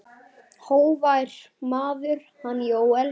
Hógvær maður, hann Jóel.